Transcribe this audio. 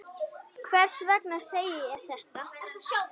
Hvers vegna segi ég þetta?